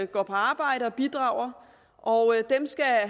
går på arbejde og bidrager og